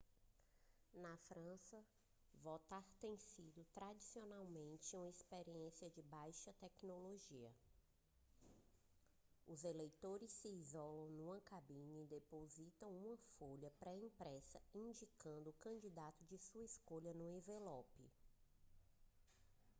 na frança votar tem sido tradicionalmente uma experiência de baixa tecnologia os eleitores se isolam numa cabine e depositam uma folha pré-impressa indicando o candidato de sua escolha num envelope